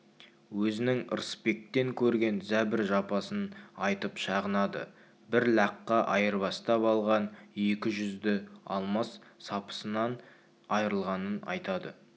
өзінің ырысбектен көрген зәбір-жапасын айтып шағынады бір лаққа айырбастап алған екі жүзді алмас сапысынан айрылғанын айтады